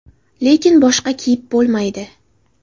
Lekin boshga kiyib bo‘lmaydi.